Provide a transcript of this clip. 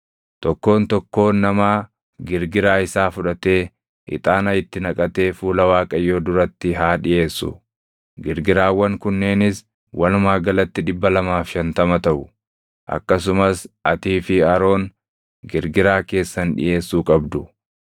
Tokkoon tokkoon namaa girgiraa isaa fudhatee, ixaana itti naqatee fuula Waaqayyoo duratti haa dhiʼeessu; girgiraawwan kunneenis walumaa galatti 250 taʼu. Akkasumas atii fi Aroon girgiraa keessan dhiʼeessuu qabdu.”